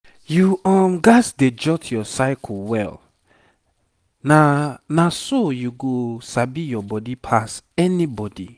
you um gats dey jot your cycle well na na so you go sabi your body pass anybody.